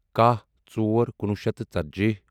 کَہہ ژور کُنوُہ شیٚتھ تہٕ ژتجی